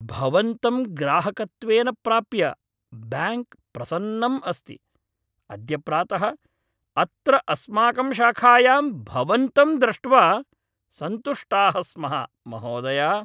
भवन्तं ग्राहकत्वेन प्राप्य ब्याङ्क् प्रसन्नम् अस्ति, अद्य प्रातः अत्र अस्माकं शाखायां भवन्तं द्रष्ट्वा सन्तुष्टाः स्मः, महोदय